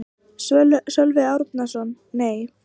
Sölvi Árnason: Nei.